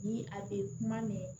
Ni a be kuma mɛn